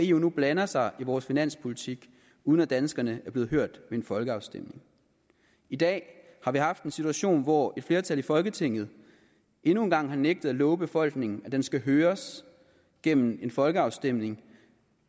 eu nu blander sig i vores finanspolitik uden at danskerne er blevet hørt ved en folkeafstemning i dag har vi haft en situation hvor et flertal i folketinget endnu en gang har nægtet at love befolkningen at den skal høres gennem en folkeafstemning